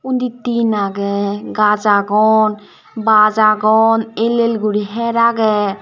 ndi tin agey gaj agon baj agon el el guri her agey.